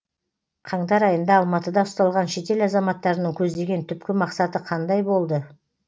қаңтар айында алматыда ұсталған шетел азаматтарының көздеген түпкі мақсаты қандай болды